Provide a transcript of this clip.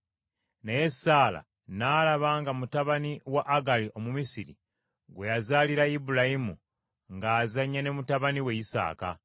Naye Saala yalaba nga mutabani wa Agali Omumisiri, gwe yazaalira Ibulayimu ng’azannya ne mutabani we Isaaka.